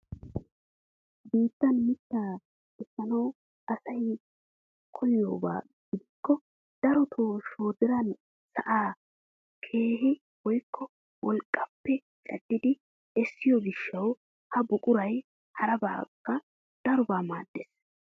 Biittaan mittaa essanawu asay koyiyaaba gidikko darotoo shoodiran sa'an keehu woykko wolqqaappe caddidi essiyoo giishshawu ha buquray harabaakka darobaa maaddees!